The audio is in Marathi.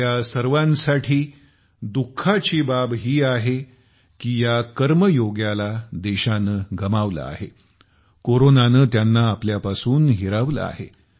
आपल्या सर्वांसाठी दुःखाची बाब आहे की या कर्मयोग्यालाही देशाने गमावलं आहे कोरोनाने त्यांना आपल्यापासून हिरावलं आहे